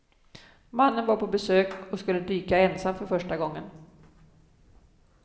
Mannen var på besök och skulle dyka ensam för första gången.